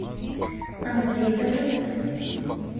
андрей давыдов